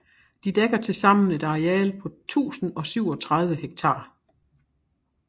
De dækker tilsammen et areal på 1037 hektar